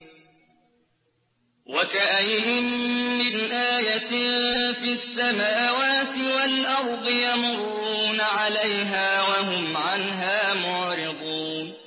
وَكَأَيِّن مِّنْ آيَةٍ فِي السَّمَاوَاتِ وَالْأَرْضِ يَمُرُّونَ عَلَيْهَا وَهُمْ عَنْهَا مُعْرِضُونَ